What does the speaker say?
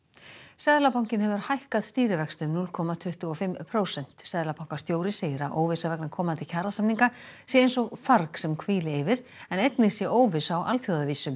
seðlabankinn hefur hækkað stýrivexti um núll komma tuttugu og fimm prósent seðlabankastjóri segir að óvissa vegna komandi kjarasamninga sé eins og farg sem hvíli yfir en einnig sé óvissa á alþjóðavísu